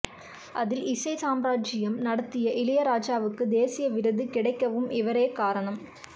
அதில் இசை சாம்ராஜியம் நடத்திய இளையராஜாவுக்கு தேசிய விருது கிடைக்கவும் இவரே காரணம்